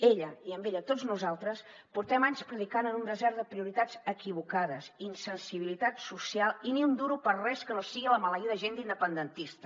ella i amb ella tots nosaltres portem anys predicant en un desert de prioritats equivocades insensibilitat social i ni un duro per res que no sigui la maleïda agenda independentista